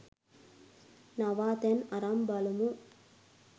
නවාතැන් අරන් බලමු